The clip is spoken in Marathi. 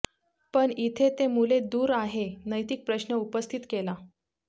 पण इथे ते मुले दूर आहे नैतिक प्रश्न उपस्थित केला